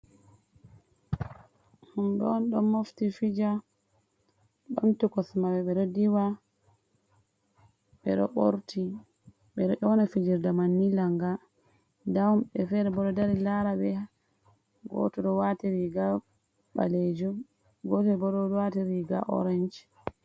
Ɗumdon don mofti fija bantukosmaɓɓe diwa. Ɓedo ona fijirde manni langa. Nda himɓe fere bodo dari lara be, goto do wati riga balejum gotobo do wati riga oranj.